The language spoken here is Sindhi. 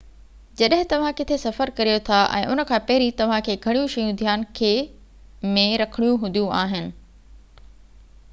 جڏهن توهان ڪٿي سفر ڪريو ٿا ۽ ان کان پهرين توهان کي گهڻيون شيون ڌيان کي ۾ رکڻيون هونديون آهن